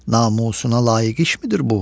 namusuna layiq işmidir bu?